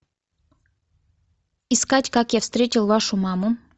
искать как я встретил вашу маму